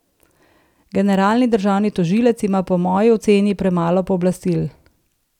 Generalni državni tožilec ima po moji oceni premalo pooblastil.